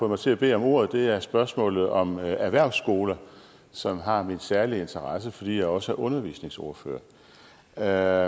mig til at bede om ordet er spørgsmålet om erhvervsskoler som har min særlige interesse fordi jeg også er undervisningsordfører jeg